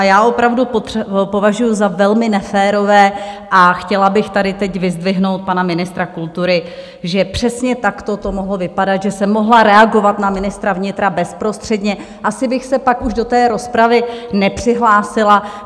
A já opravdu považuji za velmi neférové a chtěla bych tady teď vyzdvihnout pana ministra kultury, že přesně takto to mohlo vypadat, že jsem mohla reagovat na ministra vnitra bezprostředně, asi bych se pak už do té rozpravy nepřihlásila.